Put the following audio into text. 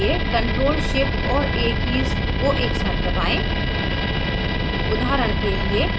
अचयनित करने के लिए ctrl shift और a कीज़ को एक साथ दबाएं